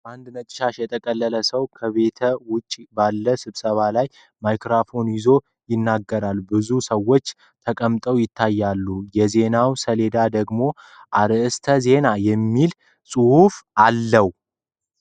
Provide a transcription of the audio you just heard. አንድ ነጭ ሻሽ የጠቀለለ ሰው ከቤት ውጭ ባለው ስብሰባ ላይ ማይክሮፎን ይዞ ይናገራል። ብዙ ሰዎች ተቀምጠው ይታያሉ፤ የዜና ሰሌዳው ደግሞ “አርእስተ ዜና” የሚል ጽሑፍ አለው።